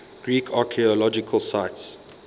greek archaeological sites